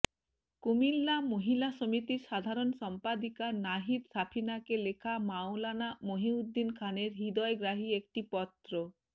কুমিল্লা মহিলা সমিতির সাধারণ সম্পাদিকা নাহিদ সাফিনাকে লেখা মাওলানা মুহিউদ্দীন খানের হৃদয়গ্রাহী একটি পত্র